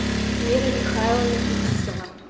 вера михайловна фетисова